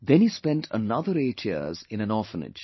Then he spent another eight years in an orphanage